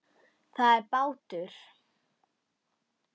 Það er bátur.